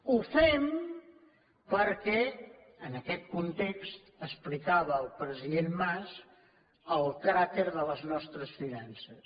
ho fem perquè en aquest context explicava el president mas el cràter de les nostres finances